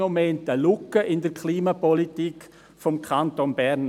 Im Moment klafft eine Lücke in der Klimapolitik des Kantons Bern.